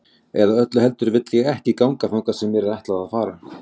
Eða öllu heldur ég vil ekki ganga þangað sem mér er ætlað að fara.